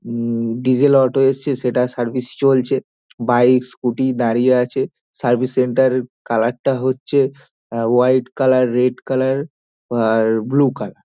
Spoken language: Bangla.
হুম ডিজেল অটো এসেছে সেটা সার্ভিস চলছে বাইক স্কুটি দাঁড়িয়ে আছে সার্ভিস সেন্টার কালার টা হচ্ছে হোয়াইট কালার রেড কালার আর ব্লু কালার ।